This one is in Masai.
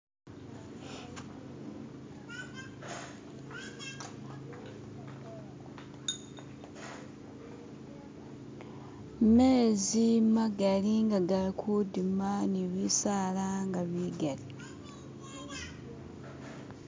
mezi magali nga gali kudima nibisaala nga bigali